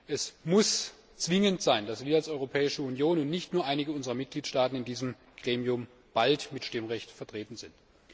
Es muss zwingend sein, dass wir bald als Europäische Union und nicht nur einige unserer Mitgliedstaaten in diesem Gremium mit Stimmrecht vertreten sind.